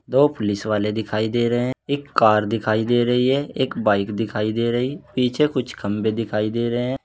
दो पुलिस वाले दिखाई दे रहे है। एक कार दिखाई दे रही है। एक बाइक दिखाई दे रही पीछे कुछ खंबे दिखाई दे रहें।